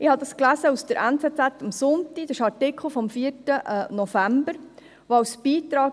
Ich habe es in einem Artikel der «NZZ am Sonntag» vom 4. November gelesen.